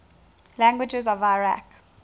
languages of iraq